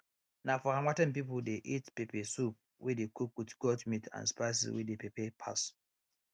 na for harmattan people dey eat pepper soup wey dey cook with goat meat and spices wey dey pepper pass